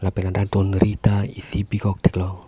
lapen ladak donri ta isi bikok ta theklong.